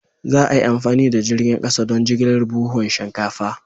Za a yi amfani da jirgin kasa don jigilar buhunan shinkafa.